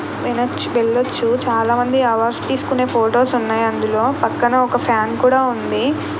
వెళ్లొచ్చు చాలామంది అవర్స్ తీసుకునే ఫొటోస్ ఉన్నాయి అందులో పక్కన ఒక ఫ్యాన్ కూడా ఉంది.